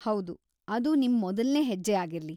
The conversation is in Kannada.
ಹೌದು, ಅದು ನಿಮ್ ಮೊದಲ್ನೇ ಹೆಜ್ಜೆ‌ ಆಗಿರ್ಲಿ.